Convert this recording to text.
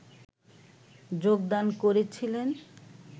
যোগদান করেছিলেন